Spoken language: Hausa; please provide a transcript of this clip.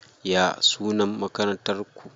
Ya sunan Makarantar ku?